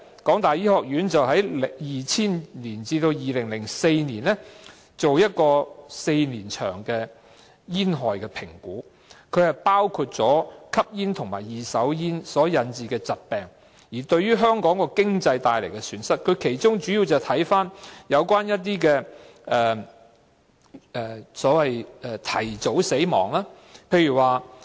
港大醫學院在2000年至2004年期間進行了一項為期4年的煙害評估，包括吸煙和二手煙所引致的疾病對香港帶來的經濟損失，當中主要涉及一些所謂提早死亡的個案。